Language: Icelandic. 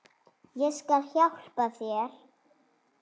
Ég skal hjálpa þér.